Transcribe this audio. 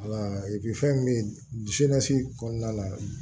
fɛn min bɛ kɔnɔna la